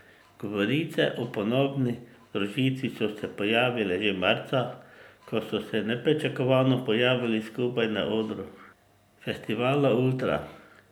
Govorice o ponovni združitvi so se pojavile že marca, ko so se nepričakovano pojavili skupaj na odru festivala Ultra.